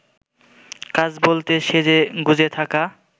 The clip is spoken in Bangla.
কাজ বলতে সেজেগুজে থাকা